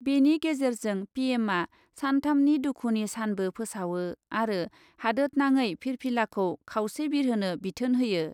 बेनि गेजेरजों पिएमआ सानथामनि दुखुनि सानबो फोसावो आरो हादतनाङै फिरफिलाखौ खावसे बिरहोनो बिथोन होयो।